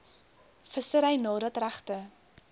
vissery nadat regte